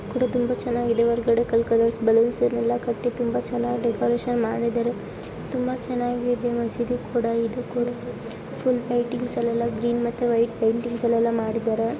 ಕೂಡ ತುಂಬಾ ಚೆನ್ನಾಗಿದೆ ಹೊರಗಡೆ ಕಲ್ ಕಲರ್ಸ್ ಬಲೂನ್ಸ್ ನೆಲ್ಲಾ ಕಟ್ಟಿ ತುಂಬಾ ಚೆನ್ನಾಗಿ ಡೆಕೋರೇಷನ್ ಮಾಡಿದ್ದಾರೆ ತುಂಬಾ ಚೆನ್ನಾಗಿದೆ ಇಲ್ಲಿ ಮಸೀದಿ ಕೂಡ ಇದು ಕೂಡ ಫುಲ್ ಪೇಂಟಿಂಗ್ಸ್ ಎಲ್ಲೆಲ್ಲ ಗ್ರೀನ್ ಮತ್ತೆ ವೈಟ್ ಪೇಂಟಿಂಗ್ಸ್ ಎಲ್ಲೆಲ್ಲ ಮಾಡಿದ್ದಾರೆ.